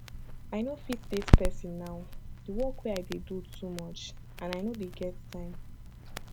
i no fit date person now the work wey i dey do too much and i no dey get time